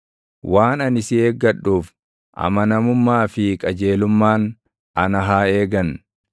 Waan ani si eeggadhuuf, amanamummaa fi qajeelummaan ana haa eegan.